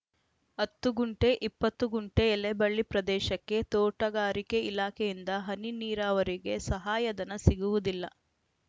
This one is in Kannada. ಹತ್ತು ಗುಂಟೆ ಇಪ್ಪತ್ತು ಗುಂಟೆ ಎಲೆಬಳ್ಳಿ ಪ್ರದೇಶಕ್ಕೆ ತೋಟಗಾರಿಕೆ ಇಲಾಖೆಯಿಂದ ಹನಿ ನೀರಾವರಿಗೆ ಸಹಾಯಧನ ಸಿಗುವುದಿಲ್ಲ